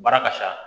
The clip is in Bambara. Baara ka ca